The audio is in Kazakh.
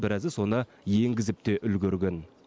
біразы соны енгізіп те үлгерген